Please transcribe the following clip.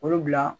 Olu bila